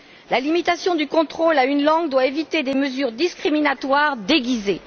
La limitation du contrôle à une langue doit éviter des mesures discriminatoires déguisées.